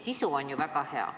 Sisu on ju väga hea.